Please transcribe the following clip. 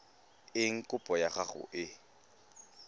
eng kopo ya gago e